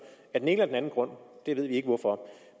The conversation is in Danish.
af den ene eller den anden grund vi ved ikke hvorfor